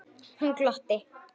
Hún glotti.